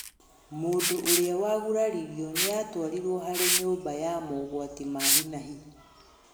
Mũĩndũ ũrĩa waguraririro nĩatwarirwo harĩ nyũmba wa mogwati ma hi na hi